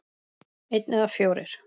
Einn eða fjórir?